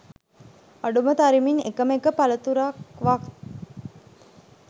අඩුම තරමින් එකම එක පළතුරක්වත්